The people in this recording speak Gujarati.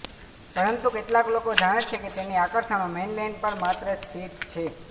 પરંતુ કેટલાક લોકો જાણે છે કે તેની આકર્ષણો મેઇનલેન્ડ પર માત્ર સ્થિત છે